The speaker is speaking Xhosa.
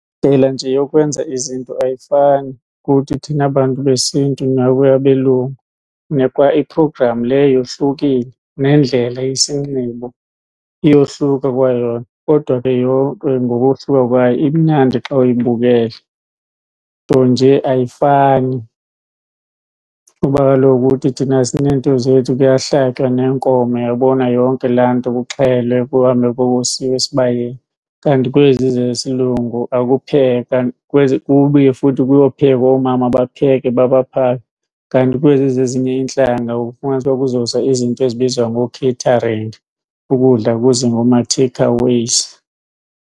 Ndlela nje yokwenza izinto ayifani kuthi thina bantu besiNtu nakweyabelungu, kwaiprogramu le yohlukile nendlela yesinxibo iyohluka kwayona. Kodwa ke yonke ngokohluka kwayo imnandi xa uyibukele, nto nje ayifani kuba kaloku kuthi thina sineento zethu kuyahlatywa neenkomo, uyabona yonke laa nto, kuxhelwe kuhambe kuyokosiwa esibayeni. Kanti kwezi zesilungu akuphekwa kube futhi kuyophekwa oomama bapheke babaphake. Kanti kwezi zezinye iintlanga ufumanise uba kuzoza izinto ezibizwa ngookheyitharinigi ukudla kuze ngooma-takeaways.